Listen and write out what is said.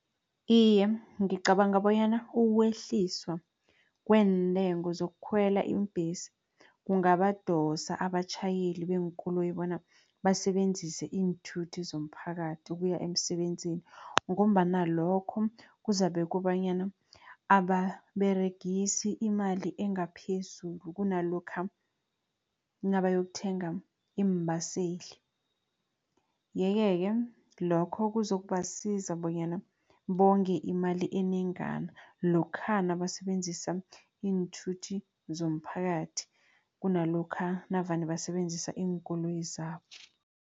Iye, ngicabanga bonyana ukwehliswa kweentengo zokukhwela iimbhesi, kungabadosa abatjhayeli beenkoloyi bona basebenzise iinthuthi zomphakathi ukuya emsebenzini. Ngombana lokho kuzabe kobanyana ababeregisi imali engaphezulu kunalokha nabayokuthenga iimbaseli. Yeke-ke lokho kuzokubasiza bonyana bonge imali enengana, lokha nabasebenzisa iinthuthi zomphakathi kunalokha navane basebenzisa iinkoloyi zabo.